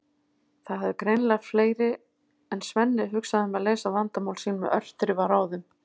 Það hafa greinilega fleiri en Svenni hugsað um að leysa vandamál sín með örþrifaráðum!